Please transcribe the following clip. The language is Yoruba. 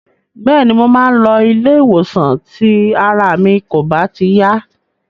Bẹ́ẹ̀ni, mo máa ń lọ ilé-ìwòsàn tí ara mi kò bá ti yá.